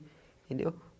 Entendeu?